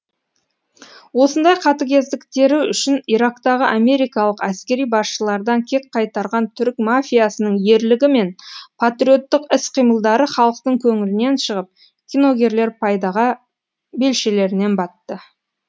осындай қатыгездіктері үшін ирактағы америкалық әскери басшылардан кек қайтарған түрік мафиясының ерлігі мен патриоттық іс қимылдары халықтың көңілінен шығып киногерлер пайдаға белшелерінен батты